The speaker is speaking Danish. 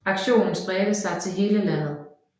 Aktionen spredte sig til hele landet